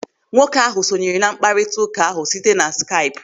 Nwoke ahụ sonyere na mkparịta ụka ahụ site na Skaipu.